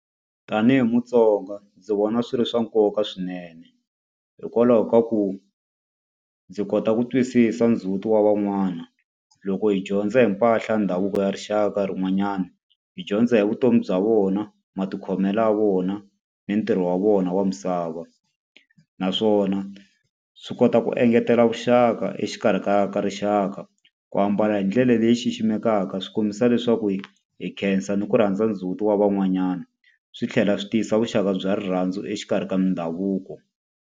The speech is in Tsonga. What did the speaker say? Tanihi muTsonga ndzi vona swi ri swa nkoka swinene. Hikwalaho ka ku ndzi kota ku twisisa ndzhuti wa van'wana. Loko hi dyondza hi mpahla ya ndhavuko ya rixaka rin'wanyana hi dyondza hi vutomi bya vona, matikhomelo ya vona, ni ntirho wa vona wa misava. Naswona swi kota ku engetela vuxaka exikarhi ka ka rixaka ku ambala hi ndlela leyi xiximekaka swi kombisa leswaku hi hi khensa ni ku rhandza ndzhuti wa van'wanyana, swi tlhela swi tiyisa vuxaka bya rirhandzu exikarhi ka ndhavuko.